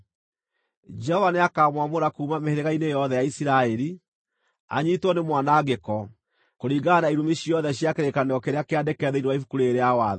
Jehova nĩakamwamũra kuuma mĩhĩrĩga-inĩ yothe ya Isiraeli, anyiitwo nĩ mwanangĩko, kũringana na irumi ciothe cia kĩrĩkanĩro kĩrĩa kĩandĩke thĩinĩ wa Ibuku rĩĩrĩ rĩa Watho.